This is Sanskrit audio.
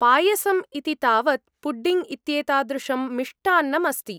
पायसम् इति तावत् पुडिङ्ग् इत्येतादृशं मिष्टान्नम् अस्ति।